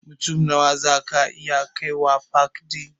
Mutum Nawa zaku iya kaiwa pak ɗin?